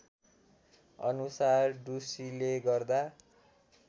अनुसार ढुसीले गर्दा